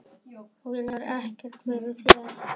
Vílar ekkert fyrir sér.